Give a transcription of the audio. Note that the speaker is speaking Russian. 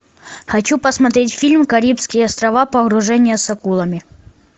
хочу посмотреть фильм карибские острова погружение с акулами